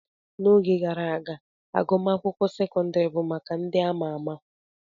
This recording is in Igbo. N'oge gara aga, agụmakwụkwọ sekọndrị bụ maka ndị ama ama.